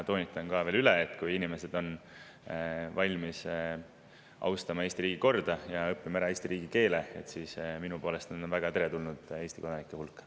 Toonitan veel üle, et kui inimesed on valmis austama Eesti riigikorda ja õppima ära Eesti riigikeele, siis minu poolest on nad väga teretulnud Eesti kodanike hulka.